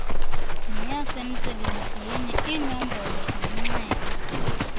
neyasemsebenzini iinombolo zomnxeba